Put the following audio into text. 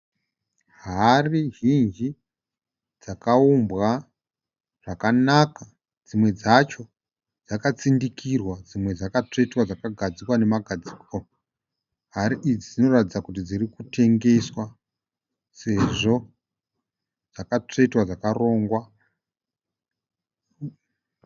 Hari zhinji dzakawumbwa zvakanaka. Dzimwe dzacho dzakatsindikirwa dzimwe dzakatsvetwa dzakagadzikwa nemagadziko. Hari idzi dzinoratidza kuti dziri kutengeswa sezvo dzakatsvetwa dzakarongwa.